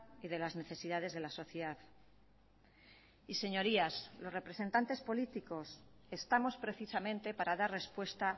y de las necesidades de la sociedad y señorías los representantes políticos estamos precisamente para dar respuesta